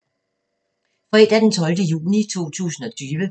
Fredag d. 12. juni 2020